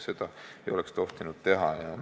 Seda ei oleks tohtinud teha.